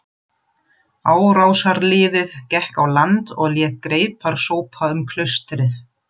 Árásarliðið gekk á land og lét greipar sópa um klaustrið.